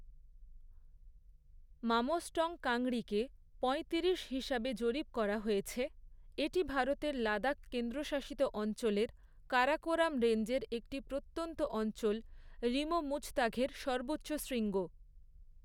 মামোস্টং কাংরিকে পঁয়তিরিশ হিসাবে জরিপ করা হয়েছে, এটি ভারতের লাদাখ কেন্দ্রশাসিত অঞ্চলের, কারাকোরাম রেঞ্জের একটি প্রত্যন্ত অঞ্চল, রিমো মুজতাঘের সর্বোচ্চ শৃঙ্গ।